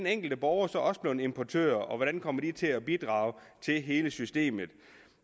enkelte borgere så også blevet importører og hvordan kommer de til at bidrage til hele systemet